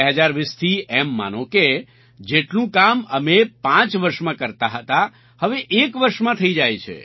2020થી એમ માનો કે જેટલું કામ અમે પાંચ વર્ષમાં કરતા હતા હવે એક વર્ષમાં થઈ જાય છે